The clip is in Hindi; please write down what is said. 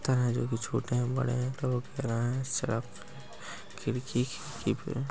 तराजू भी झोटे है बड़े है खिडकी कि